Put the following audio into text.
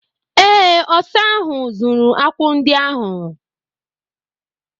Ee, ọsa ahụ zuru akwụ ndị ahụ.